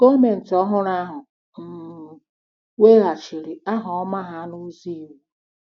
Gọọmenti ọhụrụ ahụ um weghachiri aha ọma ha n’ụzọ iwu.